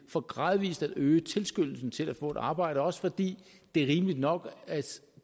for gradvis at øge tilskyndelsen til at få et arbejde også fordi det er rimeligt nok at